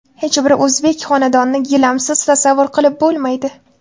Hech bir o‘zbek xonadonini gilamsiz tasavvur qilib bo‘lmaydi.